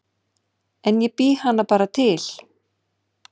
En ég bý hann bara til